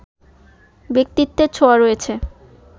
ব্যক্তিত্বের ছোঁয়া রয়েছে